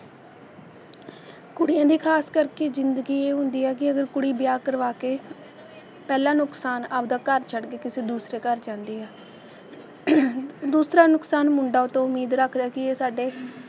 ਕੁੜੀਆਂ ਦੀ ਖਾਸ ਕਰਕੇ ਜਿੰਦਗੀ ਇਹ ਹੁੰਦੀ ਆ ਕਿ ਅਗਰ ਕੁੜੀ ਵਿਆਹ ਕਰਵਾ ਕੇ ਪਹਿਲਾਂ ਨੁਕਸਾਨ ਆਪਦਾ ਘਰ ਛੱਡ ਕੇ ਕਿਸੇ ਦੂਸਰੇ ਘਰ ਜਾਂਦੀ ਆ ਦੂਸਰਾ ਨੁਕਸਾਨ ਮੁੰਡਾ ਉਹ ਤੋਂ ਉਮੀਦ ਰੱਖਦਾ ਕਿ ਇਹ ਸਾਡੇ